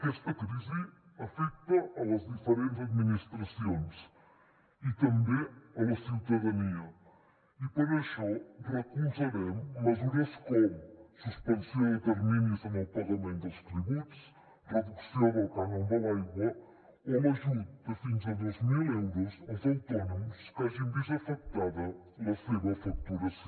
aquesta crisi afecta les diferents administracions i també la ciutadania i per això recolzaren mesures com suspensió de terminis en el pagament dels tributs reducció del cànon de l’aigua o l’ajut de fins a dos mil euros als autònoms que hagin vist afectada la seva facturació